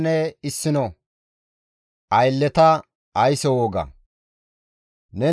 «Neni Isra7eele naytas immana wogay hayssa.